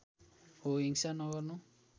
हो हिंसा नगर्नु